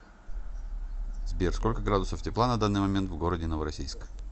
сбер сколько градусов тепла на данный момент в городе новороссийск